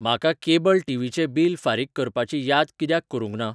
म्हाका cable TV चें bill फारीक करपाची याद कित्याक करूंक ना?